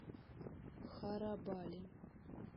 харабали